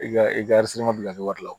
I ka i ka bila kɛ wari la